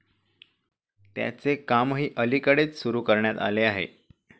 त्याचे कामही अलीकडेच सुरू करण्यात आले आहे.